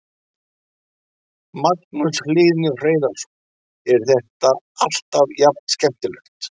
Magnús Hlynur Hreiðarsson: Er þetta alltaf jafn skemmtilegt?